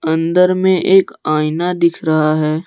अंदर में एक आईना दिख रहा है।